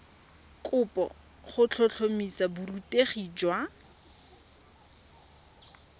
kopo go tlhotlhomisa borutegi jwa